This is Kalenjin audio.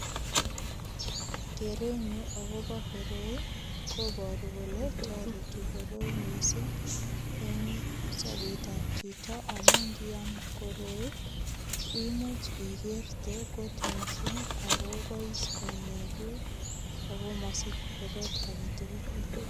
Kerenyu agobo koroi koboru kole toreti koroi mising eng sobetab chito amu ngiam koroi imuch igerte kot mising agobois konyekuk ago mosich korot age tugul.